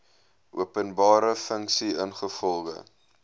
openbare funksie ingevolge